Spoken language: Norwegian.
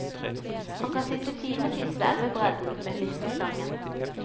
Han kan sitte timevis ved elvebredden med fiskestangen.